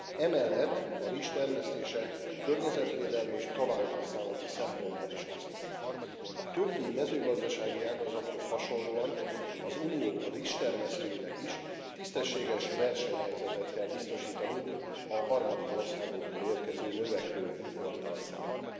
Emellett a rizs termesztése környezetvédelmi és talajhasználati szempontból is hasznos. A többi mezőgazdasági ágazathoz hasonlóan az Unió rizstermesztőinek is tisztességes versenyhelyzetet kell biztosítanunk a harmadik országokból érkező növekvő importtal szemben.